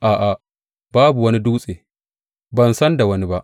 A’a, babu wani Dutse; ban san da wani ba.